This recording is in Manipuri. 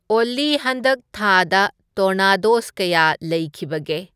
ꯑꯣꯜꯂꯤ ꯍꯟꯗꯛ ꯊꯥꯗ ꯇꯣꯔꯅꯗꯣꯁ ꯀꯌꯥ ꯂꯩꯈꯤꯕꯒꯦ